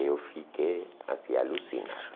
Eu fiquei assim alucinado.